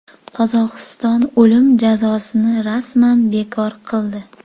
Qozog‘iston o‘lim jazosini rasman bekor qildi.